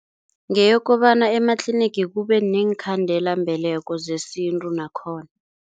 Ngeyokobana ematlinigi kube neenkhandelambeleko zesintu nakhona.